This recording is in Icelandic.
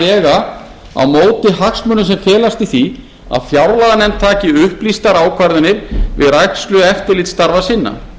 vega á móti hagsmunum sem felast í því að fjárlaganefnd taki upplýstar ákvarðanir við rækslu eftirlitsstarfa sinna